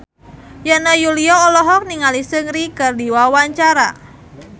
Yana Julio olohok ningali Seungri keur diwawancara